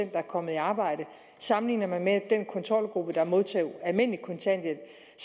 der er kommet i arbejde sammenligner man med den kontrolgruppe der modtog almindelig kontanthjælp